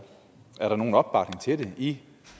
er der nogen opbakning til det i